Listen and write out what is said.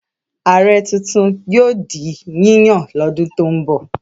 Ààrẹ tuntun yóò di yíyàn lọ́dún tó ń bọ̀.